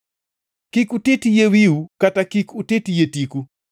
“ ‘Kik utit yie wiu kata kik utit yie tiku.